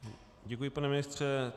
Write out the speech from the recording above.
Děkuji, pane ministře.